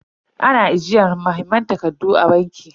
Ana ajiyar muhimman takardu a banki.